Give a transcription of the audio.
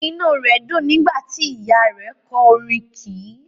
Inú rẹ dùn nígbà tí Ìyáa rẹ̀ kọ orin kì í.